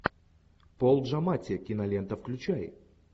пол джаматти кинолента включай